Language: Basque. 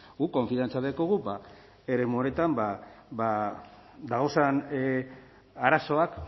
guk konfiantza daukagu eremu horretan dagozen arazoak